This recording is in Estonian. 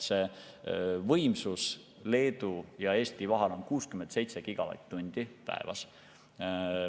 See võimsus Leedu ja Eesti vahel on 67 gigavatt‑tundi päevas.